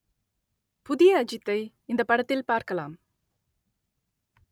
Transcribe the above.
புதிய அஜித்தை இந்தப் படத்தில் பார்க்கலாம்